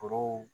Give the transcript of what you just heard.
Foro